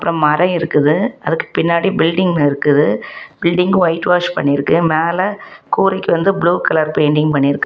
அப்பறம் மரம் இருக்குது அதுக்கு பின்னாடி பில்டிங் இருக்குது பில்டிங்கு வைட் வாஷ் பண்ணி இருக்கு மேல கூறைக்கு வந்து ப்ளூ கலர் பெயிண்டிங் பண்ணி இருக்கு.